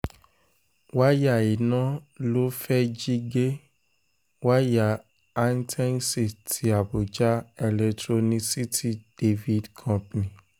wáyà iná ló fẹ́ẹ̀ jí gé wáyà hightensi ti àbújá electronicity divid company